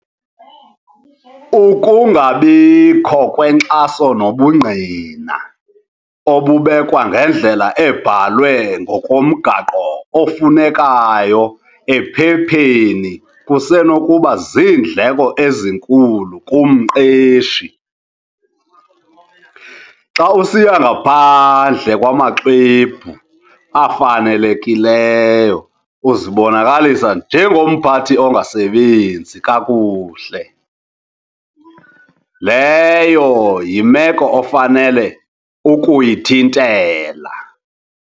Ukungabikho kwenkxaso nobungqina obubekwa ngendlela ebhalwe ngokomgaqo ofunekayo ephepheni kusenokuba ziindleko ezinkulu kumqeshi. Xa usiya ngaphandle kwamaxwebhu afanelekileyo uzibonakalisa njengomphathi ongasebenzi kakuhle, leyo yimeko ofanele ukuyithintela.